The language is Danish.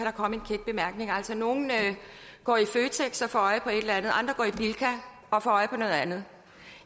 gang en altså nogle går i føtex og får øje på et eller andet andre går i bilka og får øje på noget andet